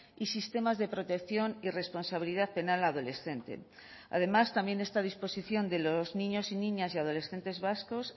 y sistemas de protección y responsabilidad penal adolescente además también está a disposición de los niños y niñas y adolescentes vascos